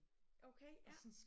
Okay ja